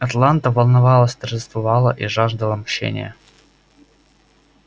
атланта волновалась торжествовала и жаждала мщения